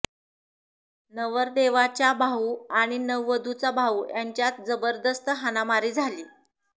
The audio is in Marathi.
नवरदेवाच्या भाऊ आणि नववधुचा भाऊ यांच्यात जबरदस्त हाणामारी झाली